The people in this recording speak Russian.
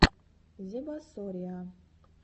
зебасориа